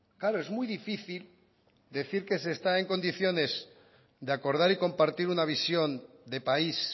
claro es muy difícil decir que se está en condiciones de acordar y compartir una visión de país